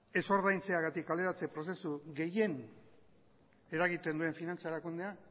ez ordaintzeagatik kaleratze prozesu gehien eragiten duen finantza erakundea